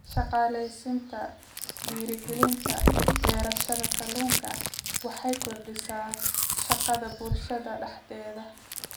Shaqaalaysiinta Dhiirigelinta beerashada kalluunka waxay kordhisaa shaqada bulshada dhexdeeda.